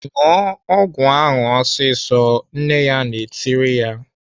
"ṅụọ ọgwụ ahụ ọsịsọ!" Nne ya na-etiri ya.